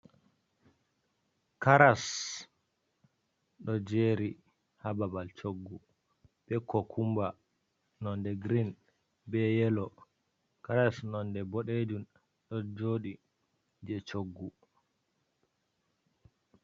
caras do jeri ha babal choggu be kokumba nonde green be yellow. Caras nonde boɗejum ɗo joɗi je choggu.